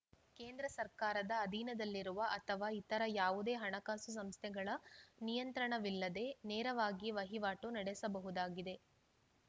ಕೇಂದ್ರ ಸರ್ಕಾರದ ಅಧೀನದಲ್ಲಿರುವ ಅಥವಾ ಇತರ ಯಾವುದೇ ಹಣಕಾಸು ಸಂಸ್ಥೆಗಳ ನಿಯಂತ್ರಣವಿಲ್ಲದೆ ನೇರವಾಗಿ ವಹಿವಾಟು ನಡೆಸಬಹುದಾಗಿದೆ